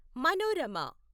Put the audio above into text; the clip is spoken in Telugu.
మనోరమ